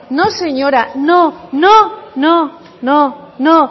no señora no no no no no